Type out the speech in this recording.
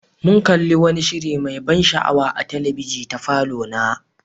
Mun kalli wani shiri mai ban sha'awa a talabijin ta falona.